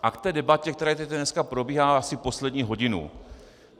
A k té debatě, která tady dneska probíhá asi poslední hodinu.